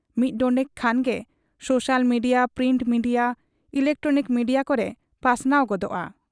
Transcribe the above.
ᱢᱤᱫ ᱰᱚᱸᱰᱮᱠ ᱠᱷᱟᱱᱜᱮ social media, print media, electronic media ᱠᱚᱨᱮ ᱯᱟᱥᱱᱟᱣ ᱜᱚᱫᱚᱜ ᱟ ᱾